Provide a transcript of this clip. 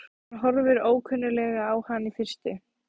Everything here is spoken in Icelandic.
Hann horfir ókunnuglega á hann í fyrstu.